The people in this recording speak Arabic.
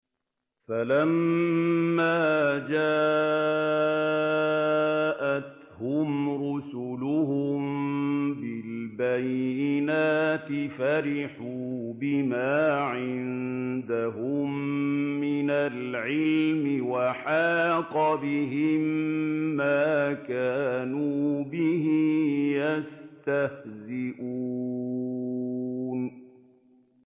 فَلَمَّا جَاءَتْهُمْ رُسُلُهُم بِالْبَيِّنَاتِ فَرِحُوا بِمَا عِندَهُم مِّنَ الْعِلْمِ وَحَاقَ بِهِم مَّا كَانُوا بِهِ يَسْتَهْزِئُونَ